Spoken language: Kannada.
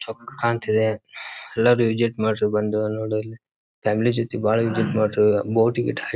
ಎಲ್ಲರು ವಿಸಿಟ್ ಮಾಡ್ರಿ ಬಂದು ನೋಡಲ್ಲಿ ಫ್ಯಾಮಿಲಿ ಜೊತೆ ಬಹಳ ಬೋಟ ಗಿಟ--